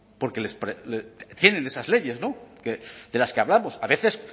porque tienen esas leyes de las que hablamos a veces